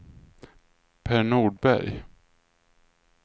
Per Nordberg